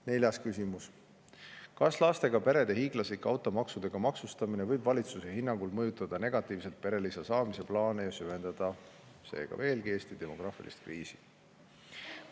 Neljas küsimus: "Kas lastega perede hiiglaslik automaksudega maksustamine võib valitsuse hinnangul mõjutada negatiivselt perelisa saamise plaane ja süvendada seega veelgi Eesti demograafilist kriisi?